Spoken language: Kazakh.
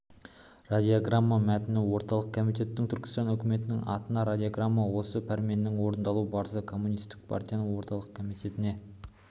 радиограмма мәтіні орталық комитетінің түркістан үкіметінің атына радиограммасы осы пәрменнің орындалу барысы коммунистік партияның орталық комитетіне